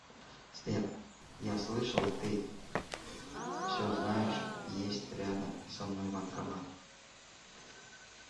сбер я слышала ты все знаешь есть рядом со мной банкомат